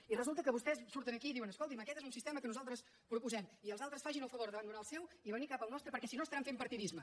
i resulta que vostès surten aquí i diuen escolti’m aquest és un sistema que nosaltres proposem i els altres facin el favor d’abandonar el seu i venir cap al nostre perquè si no estaran fent partidisme